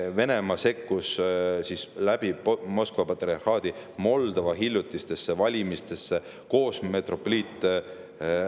Venemaa sekkus läbi Moskva patriarhaadi Moldova hiljutistesse valimistesse koos metropoliit …